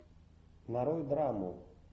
нарой драму